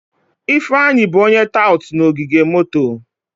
Ifeanyi bụ onye tout na ogige moto.